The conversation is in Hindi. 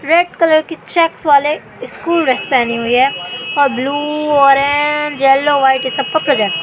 रेड कलर की चेक्स वाले स्कूल ड्रेस पहनी हुई है और ब्लू ऑरेंज येलो व्हाइट ये सब को ।